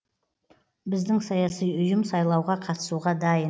біздің саяси ұйым сайлауға қатысуға дайын